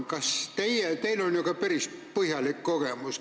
Teil on ju ka päris põhjalik kogemus.